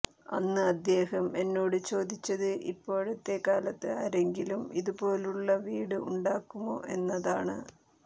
അന്ന് അദ്ദേഹം എന്നോട് ചോദിച്ചത് ഇപ്പോഴത്തെകാലത്ത് ആരെങ്കിലും ഇതുപോലുള്ള വീട് ഉണ്ടാക്കുമോ എന്നതാണ്